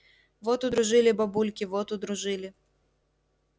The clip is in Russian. вот удружили бабульки вот удружили